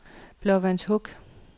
Blåvandshuk